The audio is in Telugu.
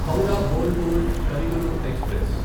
హౌరా బోల్పూర్ కవి గురు ఎక్స్ప్రెస్